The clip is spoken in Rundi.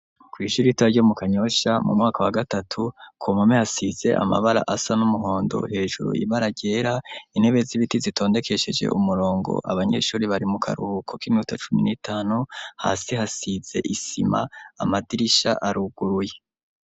Kw'ishure ritoya ryo mu Kanyosha mu mwaka wa gatatu komame hasize amabara asa n'umuhondo hejuru ibaragera intebe z'ibiti zitondekesheje umurongo abanyeshuri bari mu karuhuko k'inuta cumi n'itanu hasi hasize isima, amadirisha aruguruye.